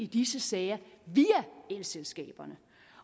disse sager via elselskaberne